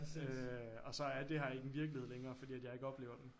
Øh og så er det her ikke en virkelighed længere fordi at jeg ikke oplever den